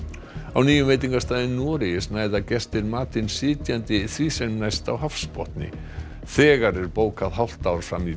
á nýjum veitingastað í Noregi snæða gestir matinn sitjandi því sem næst á hafsbotni þegar er bókað hálft ár fram í